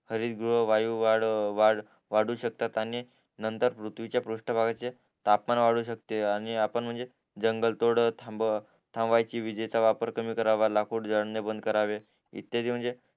हरीद्रव्य वायू वाढ वाढू शकतात आणि नंतर पृथ्वीच्या पृष्ठ भागाची तापमान वाढवू शकते आणि आपण म्हणजे जंगल तोड थांबवायची विजेचा वापर कमी करावा लाकूड जाडणे बंद करावे इत्यादी